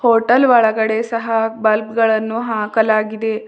Hotel ಒಳಗಡೆ ಸಹ bulb ಗಳನ್ನು ಹಾಕಲಾಗಿದೆ.